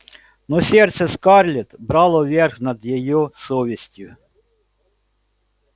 но сердце скарлетт брало верх над её совестью